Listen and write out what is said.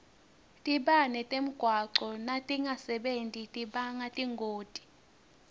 tibane temgwaco natingasebenti tibanga tingoti